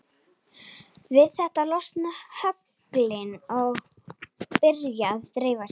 Við þetta losna höglin og byrja að dreifa sér.